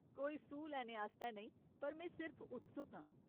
कोई सूह् लैने आस्तै नेईं, पर में सिर्फ उत्सुक आं।